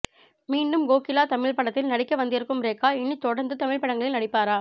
மீண்டும் கோகிலா தமிழ்ப் படத்தில் நடிக்க வந்திருக்கும் ரேகா இனித் தொடர்ந்து தமிழ்ப்படங்களில் நடிப்பாரா